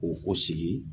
Ko o sigi